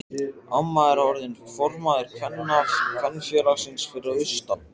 Amma er orðin formaður kvenfélagsins fyrir austan.